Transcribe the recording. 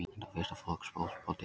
Þetta var fyrsta flokks fótbolti